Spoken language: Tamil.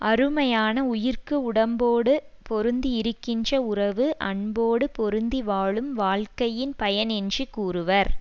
அருமையான உயிர்க்கு உடம்போடு பொருந்தி இருக்கின்ற உறவு அன்போடு பொருந்தி வாழும் வாழ்க்கையின் பயன்என்று கூறுவர்